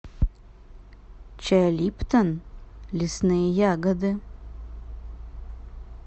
чай липтон лесные ягоды